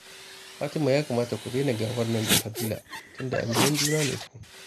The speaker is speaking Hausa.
Fatima ya kamata ku daina gabar nan da Fadila, tunda aminan juna ne ku